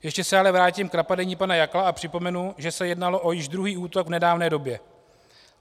Ještě se ale vrátím k napadení pana Jakla a připomenu, že se jednalo o již druhý útok v nedávné době.